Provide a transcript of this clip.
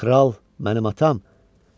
Kral, mənim atam?